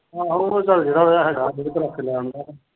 ਆਹੋ ਉਹ ਚੱਲ ਜਿਹੜਾ ਹੈਗਾ ਰੇੜੇ ਤੇ ਰੱਖ ਕੇ ਲੈ ਆਉਂਦਾ।